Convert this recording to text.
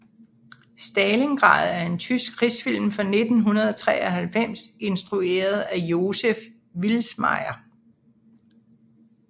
Stalingrad er en tysk krigsfilm fra 1993 instrueret af Joseph Vilsmaier